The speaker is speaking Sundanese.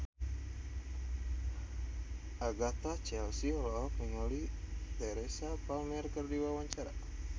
Agatha Chelsea olohok ningali Teresa Palmer keur diwawancara